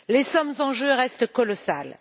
Les sommes en jeu restent colossales.